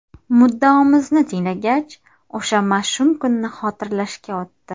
Muddaomizni tinglagach, o‘sha mash’um kunni xotirlashga o‘tdi.